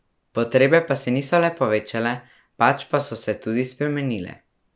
Potrebe pa se niso le povečale pač pa so se tudi spremenile.